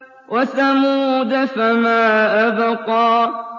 وَثَمُودَ فَمَا أَبْقَىٰ